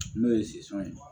N'o ye ye